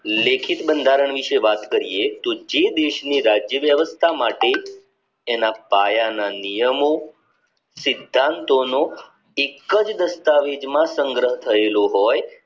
લેખિત બંધારણ વિષે વાત કરીયે કે જે દેશની રાજ્ય વ્યવસ્થા માટે એના પાયા ના નિયમો સિદ્ધાંતોનો એક જ દસ્તાવેજમાં સંગ્રહ થયેલો હોય